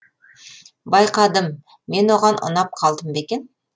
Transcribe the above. байқадым мен оған ұнап қалдым ба екен